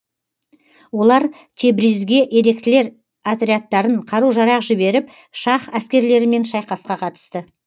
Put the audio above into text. олар тебризге еріктілер отрядтарын қару жарақ жіберіп шаһ әскерлерімен шайқасқа қатысты